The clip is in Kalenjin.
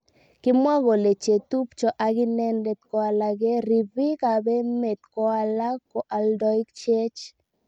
Kimwa kole chetubjo ak inendet ko alake ribik ab emet ko alak ko aldaik cheech.